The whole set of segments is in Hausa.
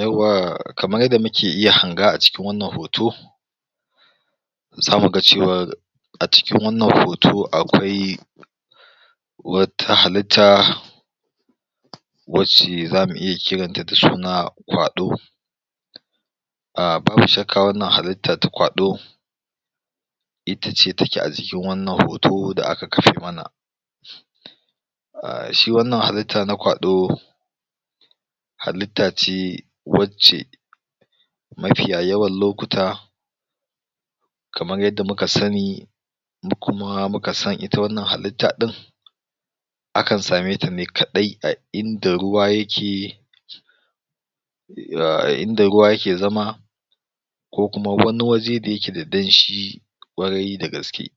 Yawwa kamar yadda muke iya hanga a cikin wannan hoto, za mu ga cewar, a cikin wannan hoto akwai, wata halitta, wacce zamu iya kiranta da suna ƙwalo, ahh babu shakka wannan halitta ta ƙwalo, itace take a jikin wannan hoto da aka kafa mana. A shi wannan halitta na ƙwalo, halitta ce wacce, mafiya yawan lokuta, kamar yadda muka sani, da kuma muka san ita wannan halitta ɗin, akan sameta ne kaɗai a inda ruwa yake inda ruwa yakle zama ko kuma wani waje da yake da danshi, kwarai da gaske.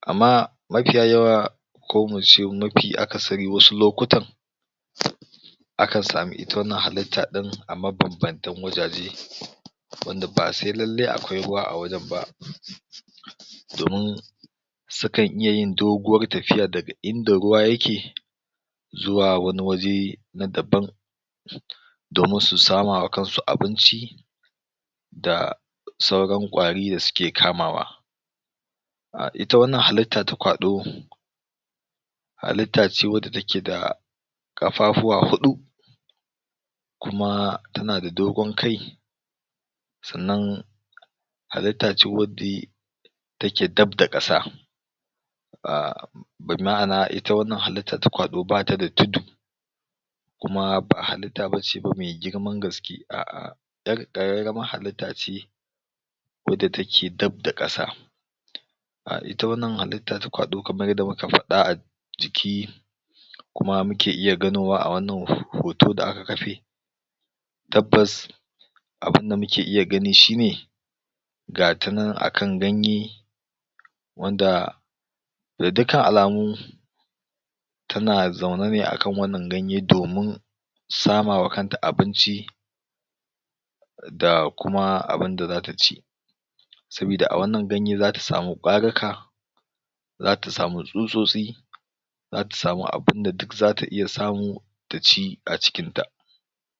Amma mafiya yawa ko muce mafi akasari wasu lokutan, akan sami ita wannan halitta ɗin a mabanbantan wajaje wanda ba sai lallai akwai ruwa a wajen ba domin sukan iya yin doguwar tafiya daga inda ruwa yake zuwa wani waje na daban, domin su samawa kansu abinci, da sauran ƙwari da suke kamawa. ah ita wannan halitta da kwaɗo, halittace wadda take da ƙafafuwa huɗu, kuma tana da dogon kai, sannan halitta ce wadda take dab da ƙasa. Ahh ma'ana anan ita wannan halitta ta kwaɗo bata da tudu, kuma ba halitta bace ba me girman gaske, a'a, 'yar ƙararramar halitta ce, wadda take dab da ƙasa. Ahh ita wannan halitta ta kwaɗo kamar yadda muka faɗa a ciki kuma muke iya ganowa a wannan hoto da aka kafe, tabbas abunda muke iya gani shine, gata nan akan ganye, wanda da dukan alamu tana zauna ne akan wannan ganye domin samawa kanta abinci, da kuma abunda zata ci. sabida a wannan ganye zata sami ƙwarika, zata samin tsutsosti, zata sami abunda duk zata iya samu, ta ci a cikinta.